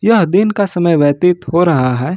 दिन का समय व्यतीत हो रहा है।